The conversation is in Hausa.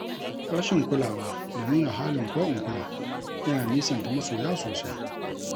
Rashin kulawa da nuna halin ko-in-kula, yana nisanta masoya sosai.